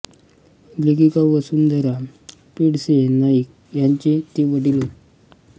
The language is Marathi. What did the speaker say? लेखिका वसुंधरा पेंडसे नाईक यांचे ते वडील होत